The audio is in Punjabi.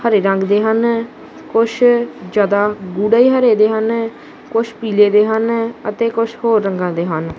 ਹਰੇ ਰੰਗ ਦੇ ਹਨ ਕੁਛ ਜਿਆਦਾ ਗੂੜੇ ਹਰੇ ਦੇ ਹਨ ਕੁਝ ਪੀਲੇ ਦੇ ਹਨ ਅਤੇ ਕੁਝ ਹੋਰ ਰੰਗਾਂ ਦੇ ਹਨ।